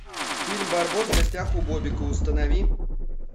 фильм барбос в гостях у бобика установи